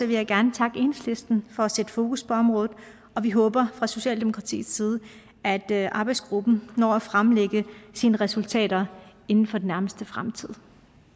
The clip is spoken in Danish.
vil jeg gerne takke enhedslisten for at sætte fokus på området og vi håber fra socialdemokratiets side at at arbejdsgruppen når at fremlægge sine resultater inden for den nærmeste fremtid